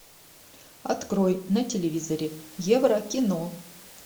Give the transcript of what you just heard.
открой на телевизоре еврокино